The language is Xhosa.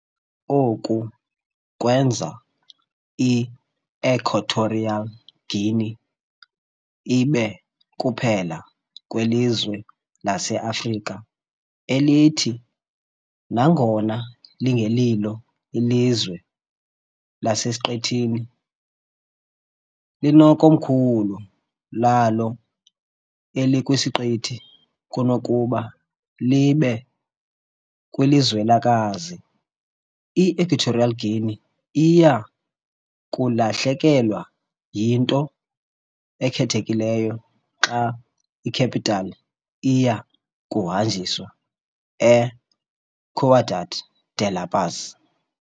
Oku kwenza i-Equatorial Guinea ibe kuphela kwelizwe laseAfrika elithi, nangona lingelilo ilizwe lasesiqithini, linekomkhulu lalo elikwisiqithi kunokuba libe kwilizwekazi. I-Equatorial Guinea iya kulahlekelwa yinto ekhethekileyo xa i-capital iya kuhanjiswa eCiudad de la Paz.